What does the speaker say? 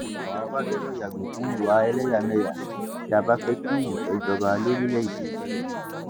àwa ọba gbọdọ yàgò fún ìwà ẹlẹyàmẹyà tí a bá fẹ kí ìfẹ jọba lórílẹèdè yìí